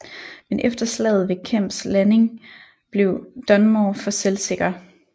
Men efter slaget ved Kemps Landing blev Dunmore for selvsikker